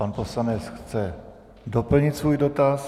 Pan poslanec chce doplnit svůj dotaz.